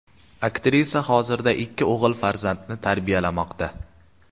Aktrisa hozirda ikki o‘g‘il farzandni tarbiyalamoqda.